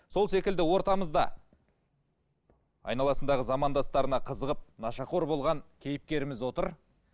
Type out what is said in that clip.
сол секілді ортамызда айналасындағы замандастарына қызығып нашақор болған кейіпкеріміз отыр